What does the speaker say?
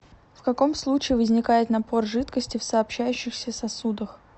в каком случае возникает напор жидкости в сообщающихся сосудах